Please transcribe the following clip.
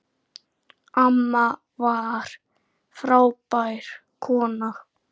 Amma var frábær kona.